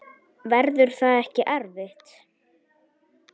Verður það ekki erfitt?